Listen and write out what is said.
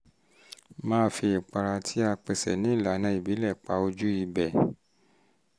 um máa fi ìpara um tí a pesè ní ìlànà ìbílẹ̀ pa ojú ibẹ̀